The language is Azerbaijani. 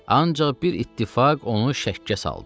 Ancaq bir ittifaq onu şəkkə saldı.